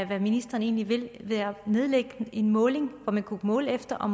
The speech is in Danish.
hvad ministeren egentlig vil ved at nedlægge en måling som man kunne måle efter og